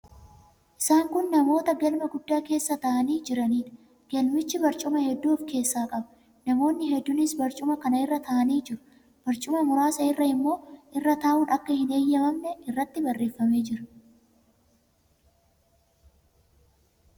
Isaan kun namoota galma guddaa keessa taa'anii jiraniidha. Galmichi barcuma hedduu of keessaa qaba. Namoonni hedduunis barcuma kana irra taa'anii jiru. Barcuma muraasa irra immoo irra taa'uun akka hin heeyyamamne irratti barreeffamee jira.